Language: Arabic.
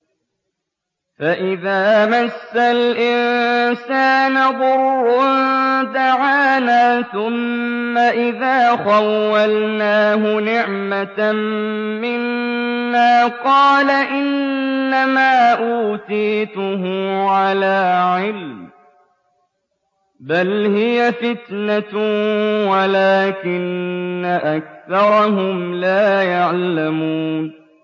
فَإِذَا مَسَّ الْإِنسَانَ ضُرٌّ دَعَانَا ثُمَّ إِذَا خَوَّلْنَاهُ نِعْمَةً مِّنَّا قَالَ إِنَّمَا أُوتِيتُهُ عَلَىٰ عِلْمٍ ۚ بَلْ هِيَ فِتْنَةٌ وَلَٰكِنَّ أَكْثَرَهُمْ لَا يَعْلَمُونَ